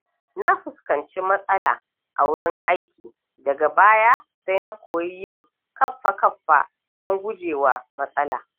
Na fuskanci matsala a wurin aiki daga baya sai nakoyi yin kaffa-kaffa don gujewa matsala.